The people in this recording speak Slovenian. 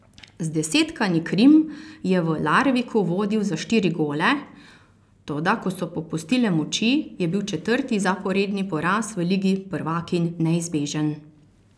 Zdesetkani Krim je v Larviku vodil za štiri gole, toda ko so popustile moči, je bil četrti zaporedni poraz v ligi prvakinj neizbežen.